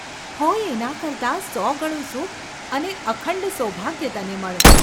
હોય એના કરતાં સોગણું સુખ અને અખંડ સૌભાગ્ય તને મળો !.